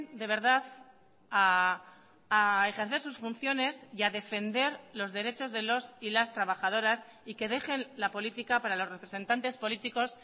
de verdad a ejercer sus funciones y a defender los derechos de los y las trabajadoras y que dejen la política para los representantes políticos